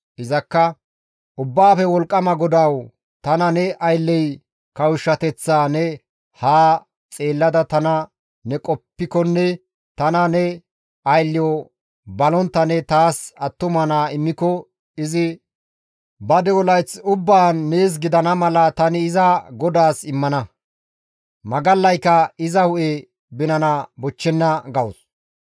Izakka, «Ubbaafe Wolqqama GODAWU tana ne aylley kawushshateththaa ne haa xeellada tana ne qoppikonne tana ne aylleyo balontta ne taas attuma naa immiko izi ba de7o layth ubbaan nees gidana mala tani iza GODAAS immana; magallaykka iza hu7e binana bochchenna» gawus.